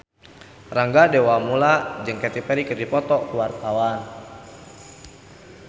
Rangga Dewamoela jeung Katy Perry keur dipoto ku wartawan